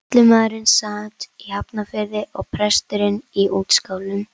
Sýslumaðurinn sat í Hafnarfirði og presturinn á Útskálum.